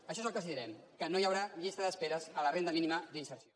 això és el que els direm que no hi haurà llistes d’espera a la renda mínima d’inserció